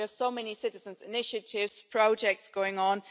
We have many Citizens' Initiative projects going on.